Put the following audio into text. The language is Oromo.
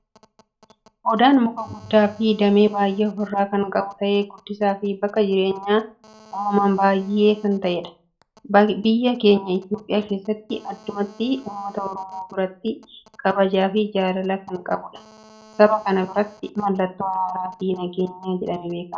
Odaan muka guddaa fi damee baayyee ofirraa kan qabu ta'ee gaddisaa fi bakka jireenya uumama baayyeef kan ta'eedha. Biyya keenya Itoophiyaa keessatti addumatti uummata Oromoo biratti kabajaa fi jaalala kan qabudha. saba kana birratti mallatoo araaraa fi nageenya jedhamee beekama.